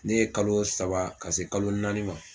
Ne ye kalo saba ka se kalo naani ma